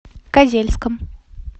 козельском